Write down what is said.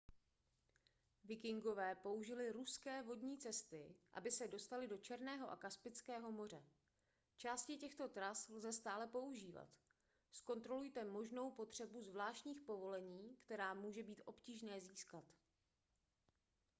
vikingové použili ruské vodní cesty aby se dostali do černého a kaspického moře části těchto tras lze stále používat zkontrolujte možnou potřebu zvláštních povolení která může být obtížné získat